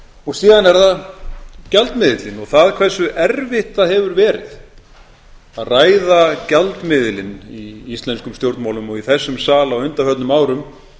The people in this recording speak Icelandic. og síðan er það gjaldmiðillinn og hversu erfitt það hefur verið að ræða gjaldmiðilinn í íslenskum stjórnmálum og í þessum sal á undanförnum árum